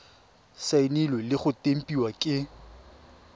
saenilwe le go tempiwa ke